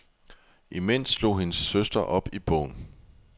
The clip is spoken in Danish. Imens slog hendes søster op i bogen.